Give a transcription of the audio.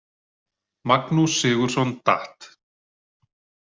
Magnús Sigurðson Dat.